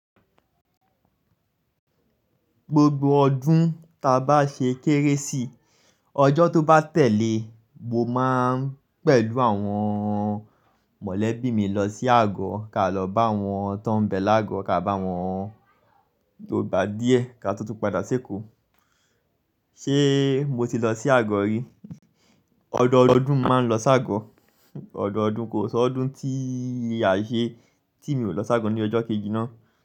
Gbogbo ọdún ta bá ṣe kérésì, ọjọ́ tó bá tẹ̀lé mo máa ń pẹ̀lú àwọn mọ̀lẹ́bí mi lọ sí àgọ́, ká lọ bá àwọn tó ń bẹ lágo, ká bá wọn yòò bá díẹ̀ ká tó tú padà séko. Ṣé mo ti lọ sí àgọ́ rí? Ọ̀dọ̀ ọdún máa ń lọ sí àgọ́. Ọ̀dọ̀ ọdún, kò sọ ọdún tí a ṣe tí mi ò lọ sí àgọ́ ní ọjọ́ kejì náà.